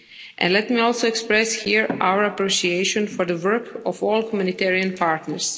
And let me also express here our appreciation for the work of all humanitarian partners.